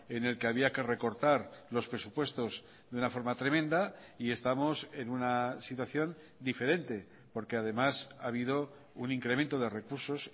en el que había que recortar los presupuestos de una forma tremenda y estamos en una situación diferente porque además ha habido un incremento de recursos